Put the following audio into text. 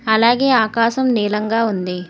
అలాగే ఆకాశం నీలంగా ఉంది.